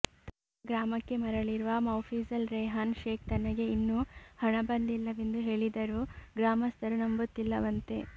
ತನ್ನ ಗ್ರಾಮಕ್ಕೆ ಮರಳಿರುವ ಮೌಫಿಜಲ್ ರೆಹಾನ್ ಶೇಖ್ ತನಗೆ ಇನ್ನೂ ಹಣ ಬಂದಿಲ್ಲವೆಂದು ಹೇಳಿದರೂ ಗ್ರಾಮಸ್ಥರು ನಂಬುತ್ತಿಲ್ಲವಂತೆ